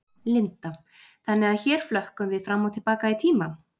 Linda: Þannig að hér flökkum við fram og til baka í tíma?